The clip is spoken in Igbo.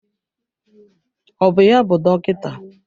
Ọ bụ ya bụ dọkịta?